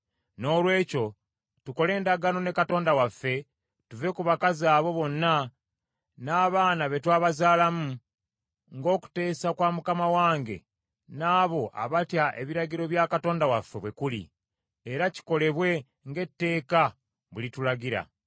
Noolwekyo tukole endagaano ne Katonda waffe tuve ku bakazi abo bonna n’abaana be twabazaalamu, ng’okuteesa kwa mukama wange n’abo abatya ebiragiro bya Katonda waffe bwe kuli, era kikolebwe ng’etteeka bwe litulagira.